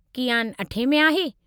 कियान अठें में आहे।